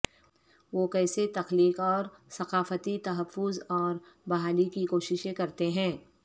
وہ کیسے تخلیق اور ثقافتی تحفظ اور بحالی کی کوششیں کرتے ہیں